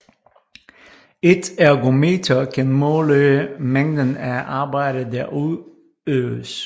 Et ergometer kan måle mængden af arbejde der udøves